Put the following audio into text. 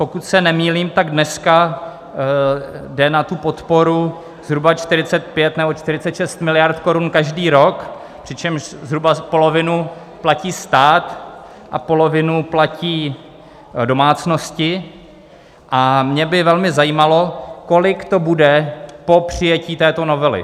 Pokud se nemýlím, tak dneska jde na tu podporu zhruba 45 nebo 46 miliard korun každý rok, přičemž zhruba polovinu platí stát a polovinu platí domácnosti, a mě by velmi zajímalo, kolik to bude po přijetí této novely.